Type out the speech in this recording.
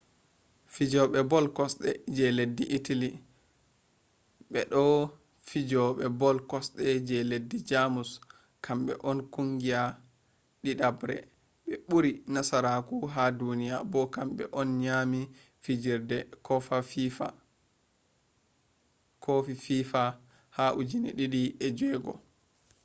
fijobe ball kosde je leddi italy be bo je fijobe ball kosde je leddi jamus kambe on kungiya didabre be buri nasarako ha duniya bo kambe on nyami fijirde kofi fifa ha 2006